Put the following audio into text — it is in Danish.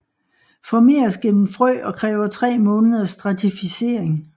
Formeres gennem frø og kræver 3 måneders stratificering